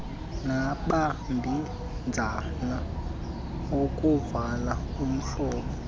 namabinzana okuvula umlomo